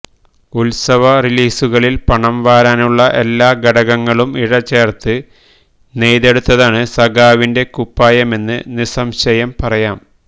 ഉത്സവ റിലീസുകളില് പണംവരാനുള്ള എല്ലാ ഘടകങ്ങളും ഇഴചേര്ത്ത് നെയ്തെടുത്തതാണ് സഖാവിന്റെ കുപ്പായമെന്ന് നിസ്സംശയം പറയാം